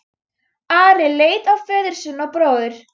Ari leit á föður sinn og bróður.